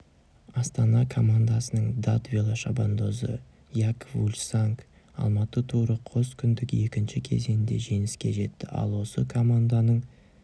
астана командасының дат велошабандозы якоб фульсанг алматы туры қоскүндік екінші кезеңінде жеңіске жетті ал осы команданың